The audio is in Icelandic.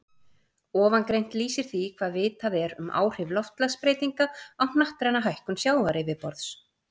Ofangreint lýsir því hvað vitað er um áhrif loftslagsbreytinga á hnattræna hækkun sjávaryfirborðs.